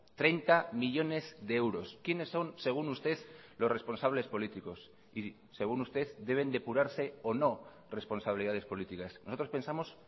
treinta millónes de euros quiénes son según usted los responsables políticos y según usted deben depurarse o no responsabilidades políticas nosotros pensamos